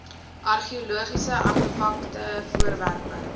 argeologiese artefakte voorwerpe